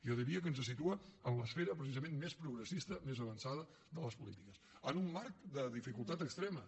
jo diria que ens situa en l’esfera precisament més progressista més avançada de les polítiques en un marc de dificultat extrema